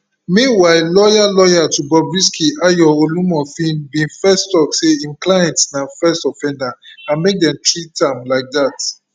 meanwhile lawyer lawyer to bobrisky ayo olumofin bin first tok say im client na first offender and make dem treat am like dat